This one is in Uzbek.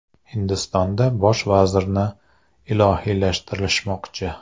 Hindistonda bosh vazirni ilohiylashtirishmoqchi.